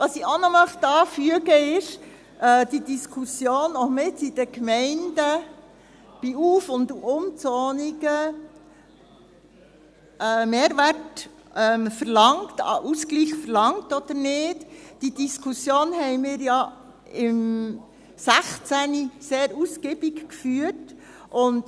Was ich auch noch anfügen möchte, ist, dass wir die Diskussion, was in den Gemeinden bei Auf- und Umzonungen an Mehrwert, an Ausgleich verlangt wird oder nicht, im Jahr 2016 sehr ausgiebig geführt haben.